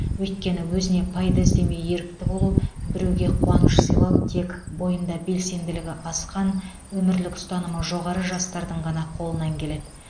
өйткені өзіне пайда іздемей ерікті болу біреуге қуаныш сыйлау тек бойында белсенділігі асқан өмірлік ұстанымы жоғары жастардың ғана қолынан келеді